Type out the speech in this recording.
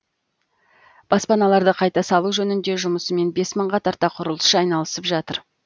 баспаналарды қайта салу жөндеу жұмысымен бес мыңға тарта құрылысшы айналысып жатыр